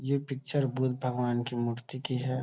ये पिक्चर बुद्ध भगवान की मूर्ति की है।